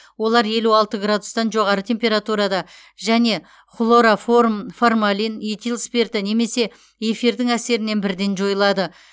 олар елу алты градустан жоғары температурада және хлороформ формалин этил спирті немесе эфирдің әсерінен бірден жойылады